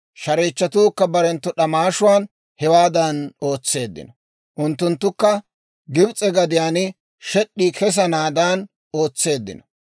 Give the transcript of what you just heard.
Shareechchatuukka barenttu d'amaashuwaan hewaadan ootseeddino; unttunttukka Gibs'e gadiyaan shed'd'ii kessanaadan ootseeddino.